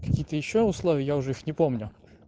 какие-то ещё условия я уже их не помню